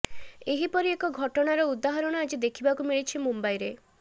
ଏହିପରି ଏକ ଘଟଣାର ଉଦାହାରଣ ଆଜି ଦେଖିବାକୁ ମିଳିଛି ମୁମ୍ବାଇରେ